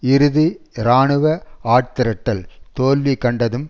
இறுதி இராணுவ ஆட்திரட்டல் தோல்வி கண்டதும்